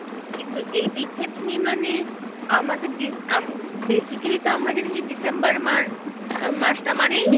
কিন্তু এইদিকে তুমি মানে আমাদের basically তো আমরা জানি যে December month মাস টা মানেই